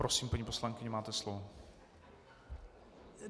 Prosím, paní poslankyně, máte slovo.